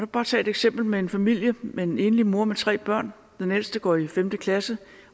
bare tage et eksempel med en familie med en enlig mor og tre børn den ældste går i femte klasse